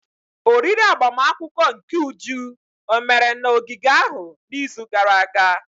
Oriri agbamakwụkwọ nke Uju omere na ogige ahụ n'izu gara aga?